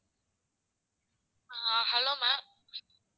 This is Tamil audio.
ah hello ma'am